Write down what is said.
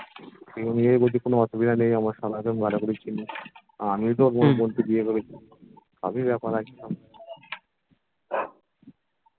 সেই অনুযায়ী বলছি কোনো অসুবিধা নেই আমার সালাকে ভালো করেই চেনে আর আমিও তো মন মনতে গিয়ে আমি বেপার